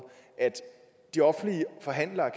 at de offentlige forhandlere